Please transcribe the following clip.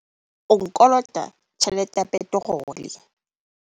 O nkolota tjhelete ya peterole.